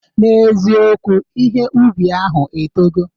N'eziokwu, ihe ubi ahụ etogo